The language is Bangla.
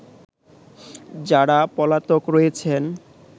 যারা পলাতক রয়েছেন